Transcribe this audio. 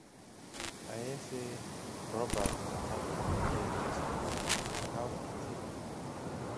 i hear say robbers attack your pikin yesterday how he dey